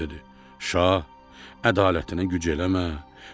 İbrahim dedi: şah ədalətinə güc eləmə.